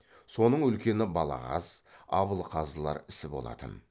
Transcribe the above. соның үлкені балағаз абылғазылар ісі болатын